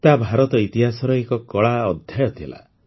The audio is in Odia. ତାହା ଭାରତ ଇତିହାସର ଏକ କଳା ଅଧ୍ୟାୟ ଥିଲା